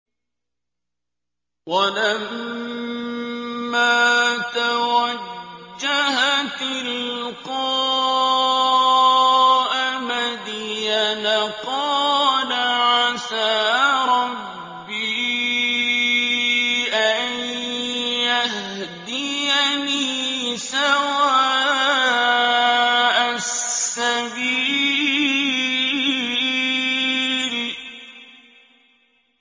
وَلَمَّا تَوَجَّهَ تِلْقَاءَ مَدْيَنَ قَالَ عَسَىٰ رَبِّي أَن يَهْدِيَنِي سَوَاءَ السَّبِيلِ